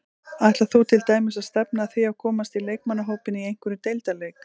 Ætlar þú til dæmis að stefna að því að komast í leikmannahópinn í einhverjum deildarleik?